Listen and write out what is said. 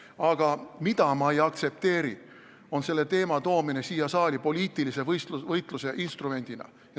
Aga mida ma ei aktsepteeri, see on selle teema toomine siia saali poliitilise võitluse instrumendina.